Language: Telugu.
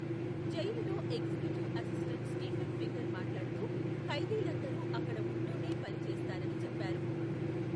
జైలులో ఎగ్జిక్యూటివ్ అసిస్టెంట్ స్టీఫెన్ ఫింగర్ మాట్లాడుతూ ఖైదీలందరూ అక్కడ ఉంటూనే పని చేస్తారని చెప్పారు.